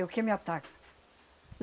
Eu que me ataco.